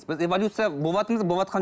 біз эволюция боватырмыз ба